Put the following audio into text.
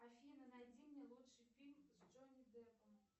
афина найди мне лучший фильм с джонни деппом